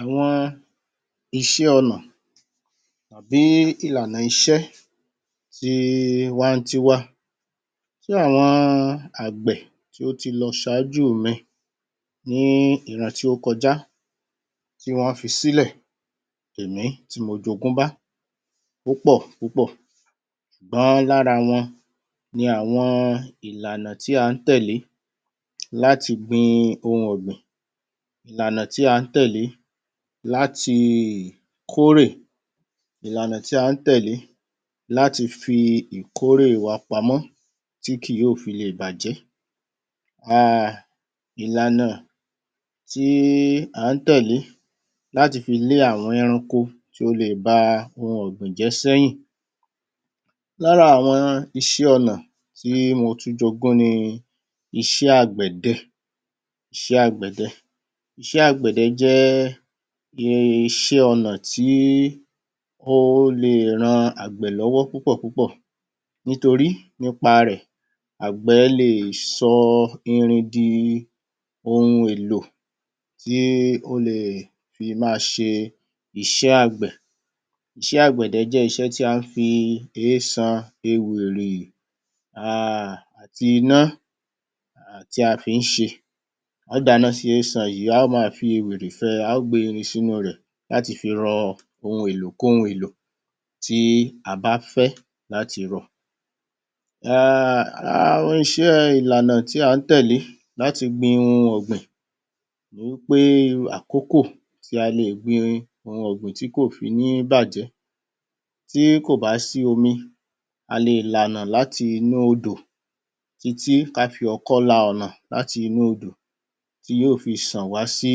Àwọn iṣẹ́ ọnà àbí ìlànà iṣẹ́ ti[um]wantiwa tí àwọn àgbẹ̀ tí ó ti lọ ṣájúù mi ní ìran tí ó kọjá tí wọ́n fi sílẹ̀ dèní tí mo jo'gún bá púpọ̀ púpọ̀ ṣùgbọ́n lára wọn ni àwọn ìlànà tí à ń tẹ̀lé láti gbin ohun ọ̀gbìn. Ìlànà tí à ń tẹ̀lé láti kó'rè, ìlànà tí à ń tẹ̀lé láti fi ìkó'rè wa pamọ́ tí kì yóò fi lè bàjẹ́ um ìlànà tí à ń tẹ̀lé láti fi lé àwọn ẹranko tí ó leè ba ohun ọ̀gbìn jẹ́ s'ẹ́yìn. Lára àwọn iṣẹ́ ọnà tí mo tún j'ogún ni iṣẹ́ àgbẹ̀dẹ isẹ́ àgbẹ̀dẹ. Iṣẹ́ àgbẹ̀dẹ jẹ́ um iṣẹ́ ọnà tí tí ó leè ran àgbẹ̀ lọ́wọ́ púpọ̀ púpọ̀ nítorí nípa rẹ̀ àgbẹ́ leè sọ irin di ohun èlò tí ó leè fi máa ṣe iṣẹ́ àgbẹ̀. Iṣẹ́ àgbẹ̀dẹ jẹ́ iṣẹ́ tí a ń fi eésan, ewìrì um àti iná ti a fi ń ṣe. A ó dàáná sí eésan yìí a ó màá fi ewìrì fẹ, a ó gbèé irin sí'nú-un rẹ̀ láti fi rọ ohun èlò k'óhun èlò tí a bá fẹ́ láti rọ. um Ìlànà tí à ń tẹ̀lé láti gbin ohun ọ̀gbìn ni wí pé àkókò tí a leè gbin ohun ọ̀gbìn tí kò fi ní bàjẹ́, tí kò bá sí omi a leè là'nà láti inú odò títí ká fi ọkọ́ la ọ̀nà láti inú odò tí yóò fi ṣàn wá sí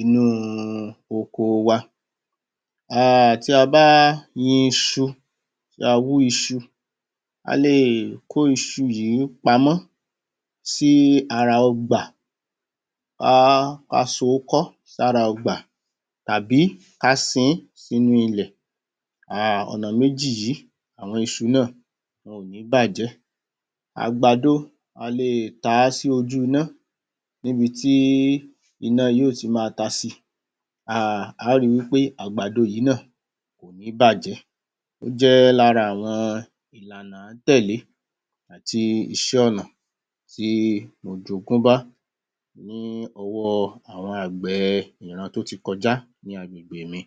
inú-un okoo wa um tí a bá yin iṣu, tí a bá wú iṣu a leè kó iṣu yìí pamọ́ sí ara ọgbà um ká so ó kọ́ sára ọgbà tàbí ká sin ín sí'nú ilẹ̀ um ọ̀nà méjì yìí àwọn iṣu náà wọn ò ní bàjẹ́. Àgbàdo ọ leè ta á sí ojú iná ní'bi tí iná yóò ti máa tasí i um a ó rí wí pé àgbàdo yìí náà kò ní bàjẹ́ ó jẹ́ lára àwọn ìlànà à ń tẹ̀lé àti iṣẹ́ ọnà tí mo j'ogún bá ní ọwọ́ àwọn àgbẹ̀ẹ iran tó ti kọjá ní agbègbè mi um